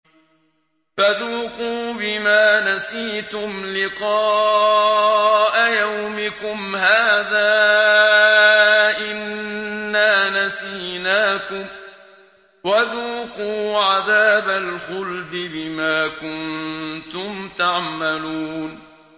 فَذُوقُوا بِمَا نَسِيتُمْ لِقَاءَ يَوْمِكُمْ هَٰذَا إِنَّا نَسِينَاكُمْ ۖ وَذُوقُوا عَذَابَ الْخُلْدِ بِمَا كُنتُمْ تَعْمَلُونَ